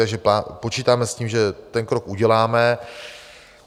Takže počítáme s tím, že ten krok uděláme.